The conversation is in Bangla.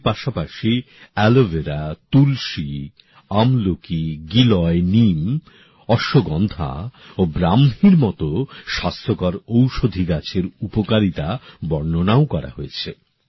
এর পাশাপাশি অ্যালভেরা তুলসী আমলকি গুলঞ্চ নিম অশ্বগন্ধা ও ব্ৰাহ্মীর মতো স্বাস্থ্যকর ঔষধি গাছের উপকারিতা বর্ণনাও করা হয়েছে